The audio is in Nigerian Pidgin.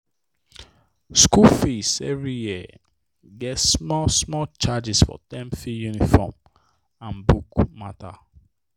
school fee every year get small small charges for term fee uniform and book matter.